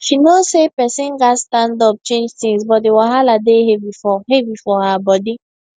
she know say person gats stand up change things but di wahala dey heavy for heavy for her body